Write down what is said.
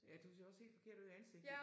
Ja du ser også helt forkert ud i ansigtet